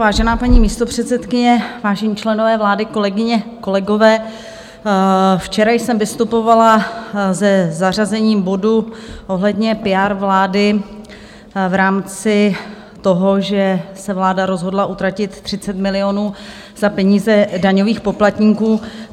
Vážená paní místopředsedkyně, vážení členové vlády, kolegyně, kolegové, včera jsem vystupovala se zařazením bodu ohledně PR vlády v rámci toho, že se vláda rozhodla utratit 30 milionů z peněz daňových poplatníků.